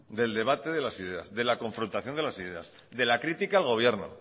de la confrontación de las ideas de la crítica al gobierno